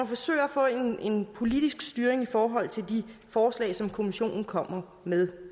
forsøger at få en politisk styring i forhold til de forslag som kommissionen kommer med